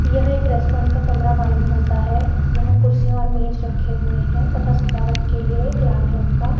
यह एक रेस्टोरेंट का कमरा मालूम होता है यहां कुर्सीया और मेज रखे हुए हैं तथा सजावट के लिए एक लाल रंग का --